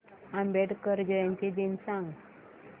आंबेडकर जयंती दिन सांग